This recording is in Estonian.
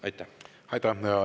Aitäh!